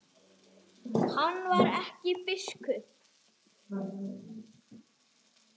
Hann var ekki biskup.